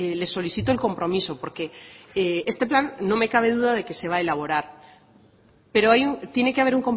les solicito el compromiso porque este plan no me cabe duda de que se va a elaborar pero tiene que haber